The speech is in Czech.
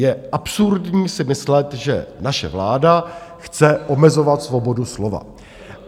Je absurdní si myslet, že naše vláda chce omezovat svobodu slova.